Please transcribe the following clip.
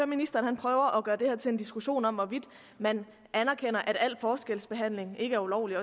ministeren prøver at gøre det her til en diskussion om hvorvidt man anerkender at al forskelsbehandling ikke er ulovlig